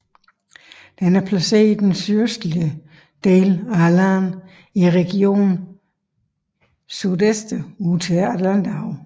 Den er placeret i den sydøstlige del af landet i regionen Sudeste ud til Atlanterhavet